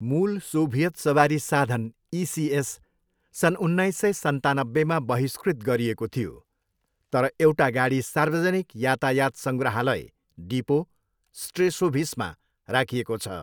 मूल सोभियत सवारी साधन ''इसिएस'' सन् उन्नाइस सय सन्तानब्बेमा बहिष्कृत गरिएको थियो, तर एउटा गाडी सार्वजनिक यातायात सङ्ग्रहालय डिपो स्ट्रेसोभिसमा राखिएको छ।